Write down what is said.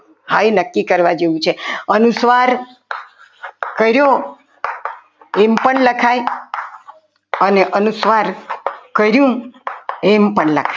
હા એ નક્કી કરવા જેવું છે અનુસ્વાર કર્યો એમ પણ લખાય અને અનુસ્વાર કર્યું એમ પણ લખાય.